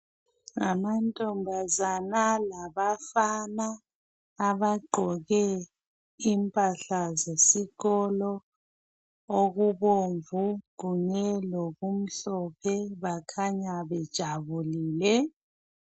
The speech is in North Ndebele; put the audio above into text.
Amantombazana labafana abagqoke impahla zesikolo. Okubomvu kunye lokumhlophe. Bakhanya, bejabulile.